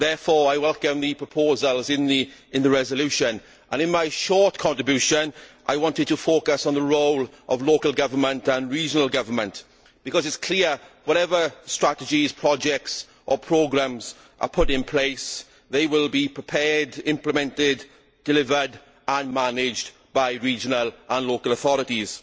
Therefore, I welcome the proposals in the motion for a resolution. In my short contribution, I wanted to focus on the role of local government and regional government, because it is clear that, whatever strategies, projects or programmes are put in place, they will be prepared, implemented, delivered and managed by regional and local authorities.